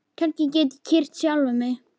Kannski get ég kyrkt sjálfan mig?